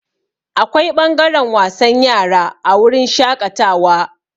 Akwai ɓangaren wasan yara a wurin shaƙatawa.